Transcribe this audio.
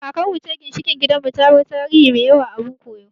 Kakar mu ce ginshiƙin gidan mu, ta bar tarihi mai yawa abun koyo